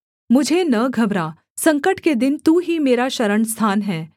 मुझे न घबरा संकट के दिन तू ही मेरा शरणस्थान है